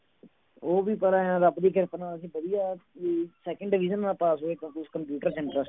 ਉਹ ਵੀ ਪਰ ਆਂ ਰੱਬ ਦੀ ਕਿਰਪਾ ਨਾਲ ਅਸੀਂ ਵਧੀਆ ਵੀ second division ਨਾਲ ਪਾਸ ਹੋਏ ਕੁਛ ਕੰਪਿਊਟਰ science